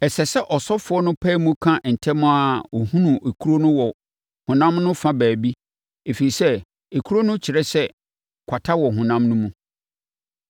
Ɛsɛ sɛ ɔsɔfoɔ no pae mu ka ntɛm ara a ɔhunu ekuro wɔ honam no fa baabi, ɛfiri sɛ akuro no kyerɛ sɛ kwata wɔ honam no mu.